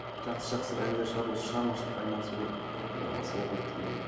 жақсы жақсы бір әндер шығарып осы шығармашылықпен айналысу керек болып тұр ғой құдай қаласа оқу біткеннен кейін